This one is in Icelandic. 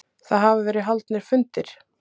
Það hafa verið haldnir fundir